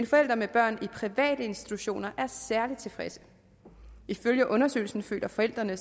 forældre med børn i private institutioner er særlig tilfredse ifølge undersøgelsen føler forældrene